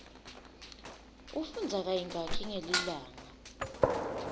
ufundza kayingaki ngelilanga